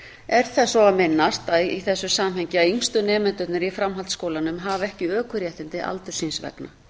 er þess svo að minnast að í þessu samhengi að yngstu nemendurnir í framhaldsskólanum hafa ekki ökuréttindi aldurs síns vegna